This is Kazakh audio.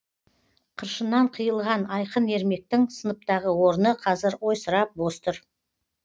қыршыннан қиылған айқын ермектің сыныптағы орны қазір ойсырап бос тұр